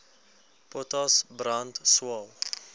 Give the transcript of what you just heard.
potas brand swael